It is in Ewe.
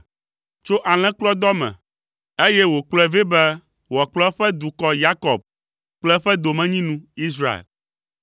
tso alẽkplɔdɔ me, eye wòkplɔe vɛ be wòakplɔ eƒe dukɔ, Yakob kple eƒe domenyinu, Israel.